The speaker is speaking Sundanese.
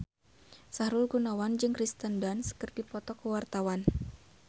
Sahrul Gunawan jeung Kirsten Dunst keur dipoto ku wartawan